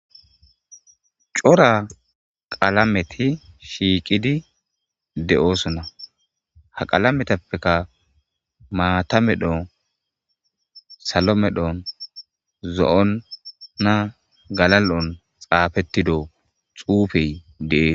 Cora qalameti shiiqidi de'oosona ha qalametappeka maata medhon salo medhon zo'onna galal'on xaafettido xuufey dees.